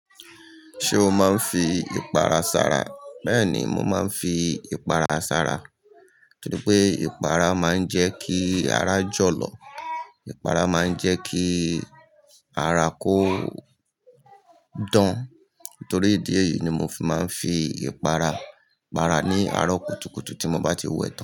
Ṣé o máa ń fi ìpara sára? Bẹ́ẹ̀ni, mo máa ń fi ìpara sára torí pé ìpara máa ń jẹ́ kí ara jọ̀lọ̀. Ìpara máa ń jẹ́ kí ara kó dán. Nítorí ìdí èyí ni mo fi máa ń fi ìpara, ìpara ní arọ kùtùkùtù tí mo bá ti wẹ́ tan.